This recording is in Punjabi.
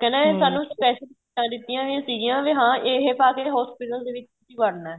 ਕਹਿੰਦਾ ਇਹ ਸਾਨੂੰ special ਕਿੱਟਾ ਦਿੱਤੀਆਂ ਹੋਈਆਂ ਸੀਗੀਆਂ ਇਹ ਪਾਕੇ hospital ਦੇ ਵਿੱਚ ਵੜਨਾ ਏ